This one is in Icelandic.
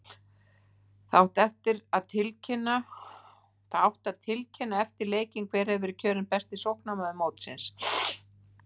Það átti að tilkynna eftir leikinn hver hefði verið kjörinn besti sóknarmaður mótsins!